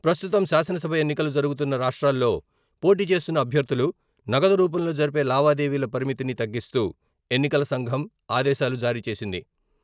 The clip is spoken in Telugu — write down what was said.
ప్రస్తుతం శాసనసభ ఎన్నికలు జరుగుతున్న రాష్ట్రాల్లో పోటీ చేస్తున్న అభ్యర్థులు నగదు రూపంలో జరిపే లావాదేవీల పరిమితిని తగ్గిస్తూ ఎన్నికల సంఘం ఆదేశాలు జారీ చేసింది.